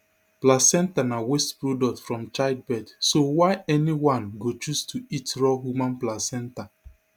placenta na waste product from childbirth so why anyone go choose to eat raw human placenta